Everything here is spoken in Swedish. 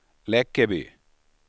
Läckeby